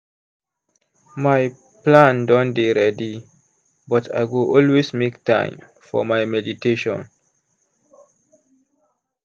my plan don dey ready but i go always make time for my meditation.